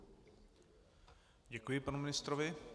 Děkuji panu ministrovi.